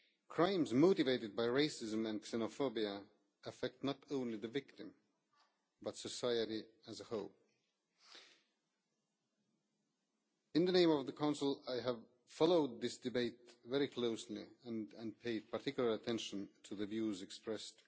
Crimes motivated by racism and xenophobia affect not only the victim, but also society as a whole. In the name of the Council, I have followed this debate very closely and paid particular attention to the views expressed.